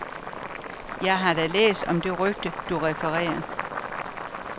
Jeg har da læst om det rygte, du refererer.